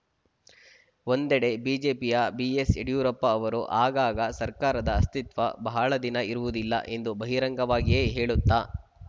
ಒಂದೆಡೆ ಬಿಜೆಪಿಯ ಬಿಎಸ್‌ ಯಡಿಯೂರಪ್ಪ ಅವರು ಆಗಾಗ ಸರ್ಕಾರದ ಅಸ್ತಿತ್ವ ಬಹಳ ದಿನ ಇರುವುದಿಲ್ಲ ಎಂದು ಬಹಿರಂಗವಾಗಿಯೇ ಹೇಳುತ್ತ